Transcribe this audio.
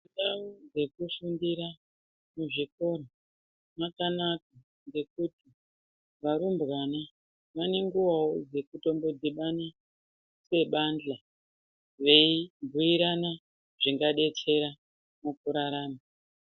Ndau dzekufundira muzvikora dzakanaka ngekuti varumbwana vane nguwawo dzekutombo dhibana sebandhla veibhuirana zvingadetsera mukurarama.